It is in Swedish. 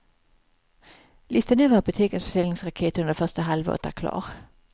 Listan över apotekens försäljningsraketer under första halvåret är klar.